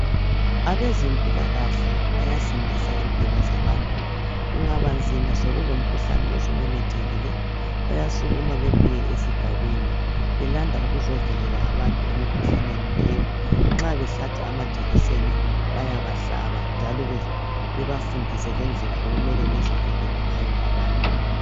Abezempilakahle bayasindisa impilo zabantu kungaba nzima sekulomkhuhlane osumemezthekile bayasukuma bebuye esigabeni belanda ukuzovikela abantu emikuhlaneni leyi nxa behlatshwa amajekiseni bayabahlaba njalo bebafundise lendlela okumele bezivikele ngayo abantu